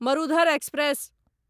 Marudhar express